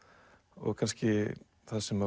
og kannski það sem